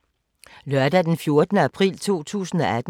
Lørdag d. 14. april 2018